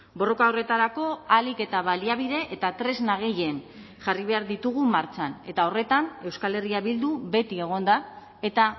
borroka horretarako ahalik eta baliabide eta tresna gehien jarri behar ditugu martxan eta horretan euskal herria bildu beti egon da eta